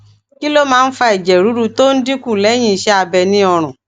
kí ló máa ń fa ẹjẹ ruru tó ń dín kù lẹyìn iṣẹ abẹ ni orun